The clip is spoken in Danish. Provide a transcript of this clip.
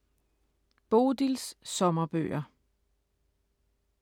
Bodils sommerbøger: